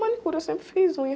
Manicure, eu sempre fiz unha.